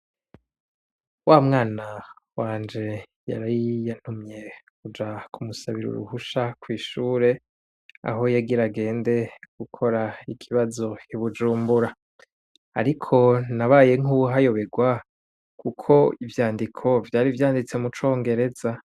Wamwana wanje yari yantumye kuja kumusabira uruhusha kwishure aho yagira agenda gukora ikibazo ibujumbura ariko nabaye nkuwuhayoberwa kuko ivyandiko vyari vyanditse mucongereza